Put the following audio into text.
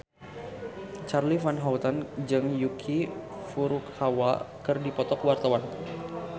Charly Van Houten jeung Yuki Furukawa keur dipoto ku wartawan